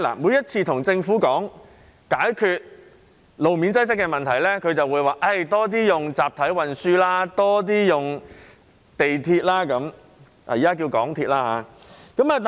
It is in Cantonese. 每次與政府討論解決路面擠塞的問題時，當局只會說多使用集體運輸，多使用港鐵。